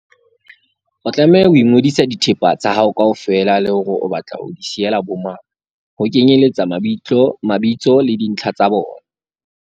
O tlameha ho ngodisa dithepa tsa hao kaofela le hore o batla ho di siyela bomang, ho kenyeletsa mabitso le dintlha tsa bona.